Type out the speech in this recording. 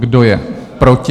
Kdo je proti?